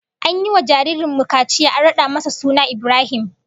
An yi wa jaririn mu kaciya an rada masa suna Ibrahim